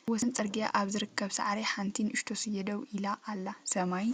ኣብ ወሰን ጽርግያ ኣብ ዝርከብ ሳዕሪ ሓንቲ ንእሽቶ ስየ ደው ኢላ ኣላ። ሰማይ